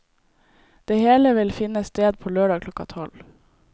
Det hele vil finne sted på lørdag klokka tolv.